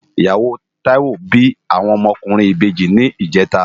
Iyáwó Taiwo bi áwòn òmò òkúrin ibèji nijètá